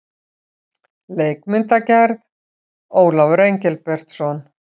Leikmyndagerð: Ólafur Engilbertsson.